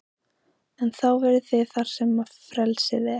En þá verðið þið þar sem frelsið er.